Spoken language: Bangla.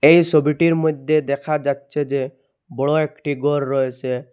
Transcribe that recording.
এ সবিটির মইদ্যে দেখা যাচ্ছে যে বড় একটি গর রয়েসে।